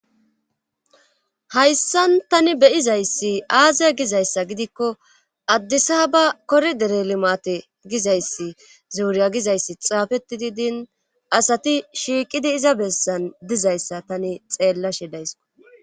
hayssan tani beyizayssi aaziya gizayssa gidikko addisa ba koridere limate gizayssi zuuriya gizayssi xaafetidi din asati shiiqidi iza bessan dizayssa tani xeellashe daysko